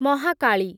Mahakali